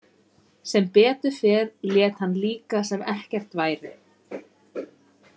Sem betur fer lét hann líka sem ekkert væri.